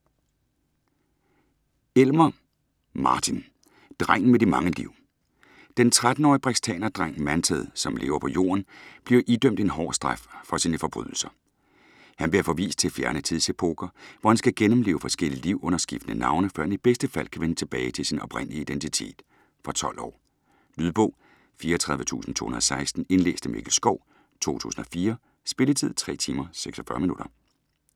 Elmer, Martin: Drengen med de mange liv Den 13-årige brextanerdreng Manted, som lever på Jorden, bliver idømt en hård straf for sine forbrydelser. Han bliver forvist til fjerne tidsepoker, hvor han skal gennemleve forskellige liv under skiftende navne, før han i bedste fald kan vende tilbage til sin oprindelige identitet. Fra 12 år. Lydbog 34216 Indlæst af Mikkel Schou, 2004. Spilletid: 3 timer, 46 minutter.